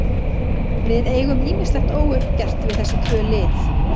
Við eigum ýmislegt óuppgert við þessi tvö lið.